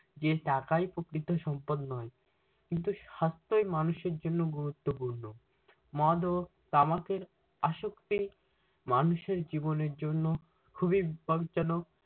যে টাকাই প্রকৃত সম্পদ নয় কিন্তু সাস্থ্যই মানুষের জন্য গুরুত্বপূর্ণ। মদ ও তামাকের আসক্তি মানুষের জীবনের জন্য খুবি বিপদজনক।